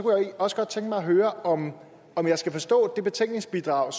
jeg også godt tænke mig at høre om om jeg skal forstå det betænkningsbidrag